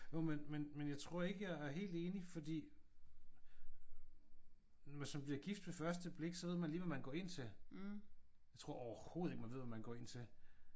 Jo men men men jeg tror ikke jeg er helt enig fordi hvis man bliver gift ved første blik så ved man lige hvad man går ind til. Jeg tror overhovedet ikke man ved hvad man går ind til